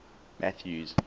mathews